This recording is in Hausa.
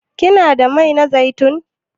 Kina da mai na zaitun?